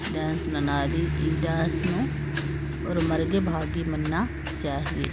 डांस ननाली इ डांस नू उर मर्गे भागी मन ना चाहिए।